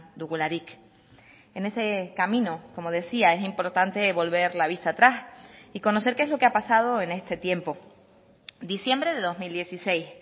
dugularik en ese camino como decía es importante volver la vista atrás y conocer qué es lo que ha pasado en este tiempo diciembre de dos mil dieciséis